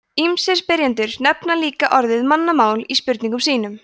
ýmsir spyrjendur nefna líka orðið mannamál í spurningum sínum